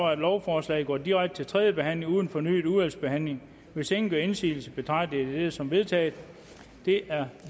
at lovforslaget går direkte til tredje behandling uden fornyet udvalgsbehandling hvis ingen gør indsigelse betragter jeg dette som vedtaget det er